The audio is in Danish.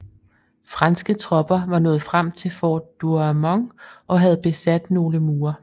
Franske tropper var nået frem til fort Douaumont og havde besat nogle mure